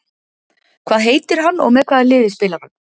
Hvað heitir hann og með hvaða liði spilar hann?